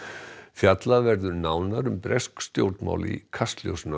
fjallað verður nánar um bresk stjórnmál í Kastljósinu